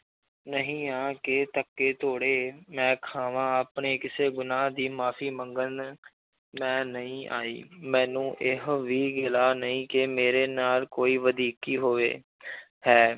ਨਹੀਂ ਹਾਂ ਕਿ ਧੱਕੇ ਧੋਲੇ ਮੈਂ ਖਾਵਾਂ ਆਪਣੇ ਕਿਸੇ ਗੁਨਾਂਹ ਦੀ ਮਾਫ਼ੀ ਮੰਗਣ ਮੈਂ ਨਹੀਂ ਆਈ ਮੈਨੂੰ ਇਹੋ ਵੀ ਗਿਲਾ ਨਹੀਂ ਕਿ ਮੇਰੇ ਨਾਲ ਕੋਈ ਵਧੀਕੀ ਹੋਵੇ ਹੈ